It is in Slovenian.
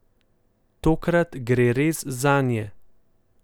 Tokrat gre res zanje.